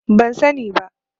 Ban sani ba.